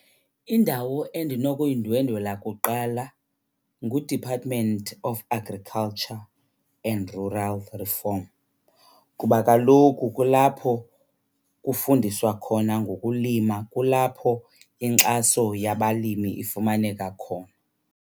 Indawo endinokuyindwendwela kuqala nguDepartment of Agriculture and Rural Reform kuba kaloku kulapho kufundiswa khona ngokulima, kulapho inkxaso yabalimi ifumaneka khona.